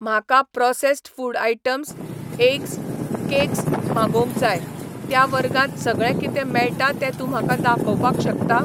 म्हाका processed food items ,eggs, cakes मागोवंक जाय, त्या वर्गांत सगळें कितें मेळटा तें तूं म्हाका दाखोवपाक शकता?